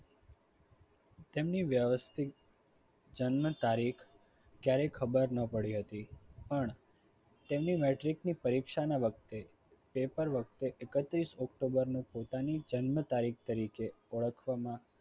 તેમની વ્યવસ્થિત જન્મ તારીખ કયારે ખબર ન પડી હતી. પણ તેમની metric ની પરીક્ષાના વખતે પેપર વખતે એકત્રીસ ઓક્ટોબર પોતાની જન્મ તારીખ તરીકે ઓળખવામાં